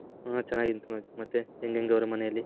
ಹ ಚೆನ್ನಾಗಿದ್ದೀನಿ ತನೋಜ್ ಮತ್ತೆ ಹೆಂಗ್ ಹೆಂಗ್ ಅವರೇ ಮನೆಯಲ್ಲಿ .